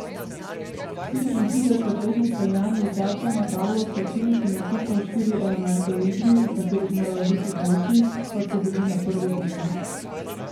Štiriintridesetletni Celjan je igralcem na tablo v slačilnici napisal štiri elemente v igri, v katerih morajo biti boljši, kot so bili na prvi tekmi.